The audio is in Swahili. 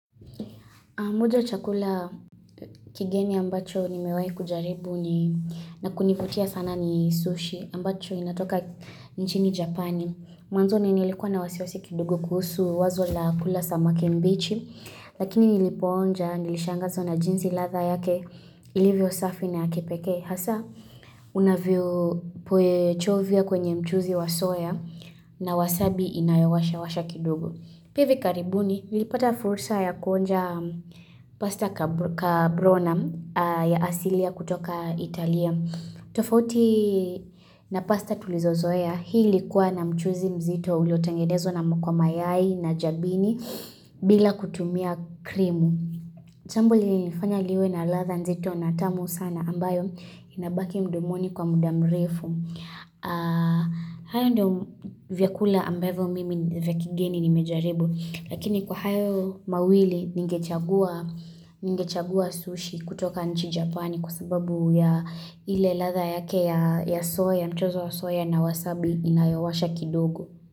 Moja ya chakula kigeni ambacho nimewai kujaribu ni na kunivutia sana ni sushi ambacho inatoka nchini Japani. Mwanzoni nilikuwa na wasiwasi kidugo kuhusu wazo la kula samake mbichi lakini nilipoonja nilishangazwa na jinsi ladha yake ilivyo safi na yakepeke. Hasa unavyo poe chovya kwenye mchuzi wa soya na wasabi inayowasha kidogo. Pia hivi karibuni, nilipata fursa ya kuonja pasta kabronam ya asilia kutoka Italia. Tofauti na pasta tulizozoe ya, hii likuwa na mchuzi mzito ulotangenezwa na mkwa mayai na jabini bila kutumia krimu. Chambu lililifanya liwe na ladha nzito na tamu sana ambayo inabaki mdomoni kwa muda mrefu. Hayo ndio vyakula ambavyo mimi vya kegeni nimejaribu Lakini kwa hayo mawili ningechagua sushi kutoka nchi Japani Kwa sababu ya ile ladha yake ya soya, mchozo wa soya na wasabi inayowasha kidogo.